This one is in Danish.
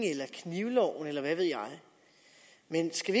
knivloven eller hvad ved jeg men skal